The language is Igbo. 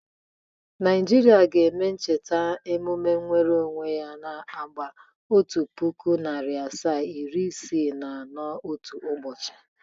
Naijiria ga-eme emume ncheta nwere onwe ya nke agba otu puku, nari asaa, iri isii na anọ otu ụbọchị.